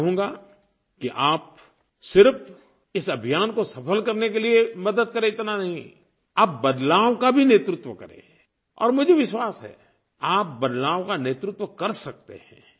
मैं चाहूँगा कि आप सिर्फ़ इस अभियान को सफल करने के लिए मदद करें इतना नहीं आप बदलाव का भी नेतृत्व करें और मुझे विश्वास है आप बदलाव का नेतृत्व कर सकते हैं